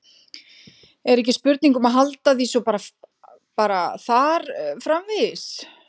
Er ekki spurning um að halda því svo bara þar framvegis?